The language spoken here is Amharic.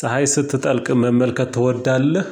ፀሀይ ስትጠልቅ መመልከት ትወዳለህ?